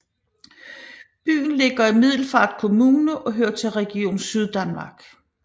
Byen ligger i Middelfart Kommune og hører til Region Syddanmark